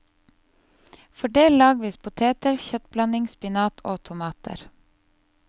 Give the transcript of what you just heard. Fordel lagvis poteter, kjøttblanding, spinat og tomater.